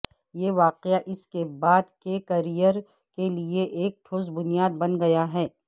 یہ واقعہ اس کے بعد کے کیریئر کے لئے ایک ٹھوس بنیاد بن گیا ہے